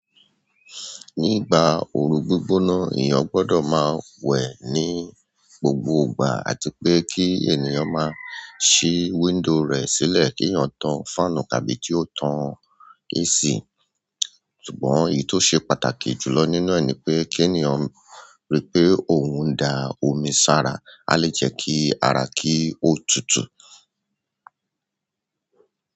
Nígbà oru gbígbóná, èyàn gbọdọ̀ máa wẹ̀ ní gbogbo ìgbà àti pé kí ènìyàn máa ṣí window rẹ̀ sílẹ̀ kí èyàn tàn fáànù tàbí kí ó tàn AC. Ṣùgbọ́n èyí tó ṣe pàtàkì jùlọ nínú ẹ̀ nípé kí èyàn rí pé òun dá omi sara. A lè jẹ́ kí ara kó tútù.